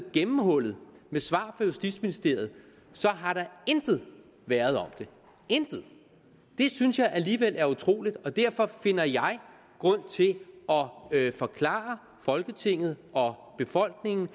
gennemhullet med svar fra justitsministeriet har der intet været om det intet det synes jeg alligevel er utroligt og derfor finder jeg grund til at forklare folketinget og befolkningen